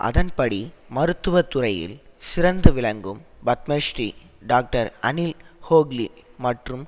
அதன்படி மருத்துவதுறையில் சிறந்து விளங்கும் பத்மஸ்ரீ டாக்டர் அனில் ஹூக்லி மற்றும்